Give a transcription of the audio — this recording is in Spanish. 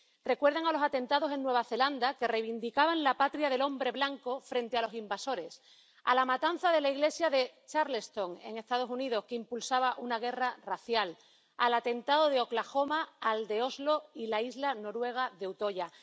Recuerdan a los atentados en Nueva Zelanda que reivindicaban la patria del hombre blanco frente a los invasores, a la matanza de la iglesia de Charleston, en los Estados Unidos, que impulsaba una guerra racial, al atentado de Oklahoma, al de Oslo y la isla noruega de Utoya.